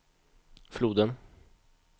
floden